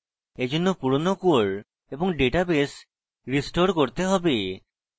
এইজন্য পুরোনো core এবং ডাটাবেস restore করতে হবে